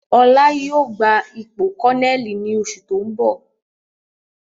Ọlá yìí ó gbà ipò kọnẹ́ẹ́lì ni oṣù tóun bọ̀